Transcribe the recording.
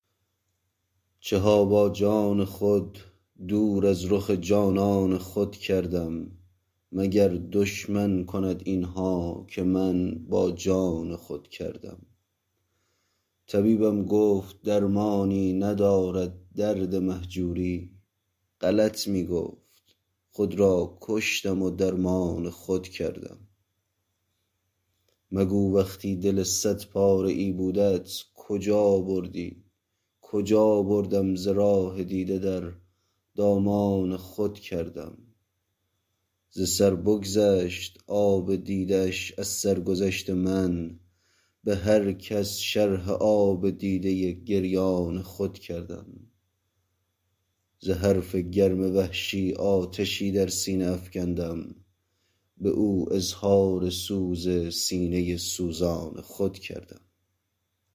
چه ها با جان خود دور از رخ جانان خود کردم مگر دشمن کند این ها که من با جان خود کردم طبیبم گفت درمانی ندارد درد مهجوری غلط می گفت خود را کشتم و درمان خود کردم مگو وقتی دل صد پاره ای بودت کجا بردی کجا بردم ز راه دیده در دامان خود کردم ز سر بگذشت آب دیده اش از سرگذشت من به هر کس شرح آب دیده گریان خود کردم ز حرف گرم وحشی آتشی در سینه افکندم به او اظهار سوز سینه سوزان خود کردم